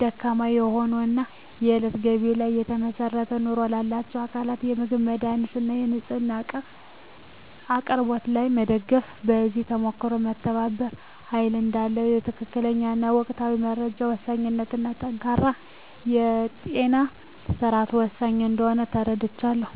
ደካማ ለሆኑ እና የእለት ገቢ ላይ ለተመሰረተ ኑሮ ላላቸው አካላት በምግብ፣ መድሃኒት እና ንፅህና እቃ አቅርቦት ላይ መደገፍ። ከዚህ ተሞክሮም መተባበር ኃይል እዳለው፣ የትክክለኛ እና ወቅታዊ መረጃ ወሳኝነት እና ጠንካራ የጤና ስርዓት ወሳኝ እንደሆነ ተረድቻለሁ።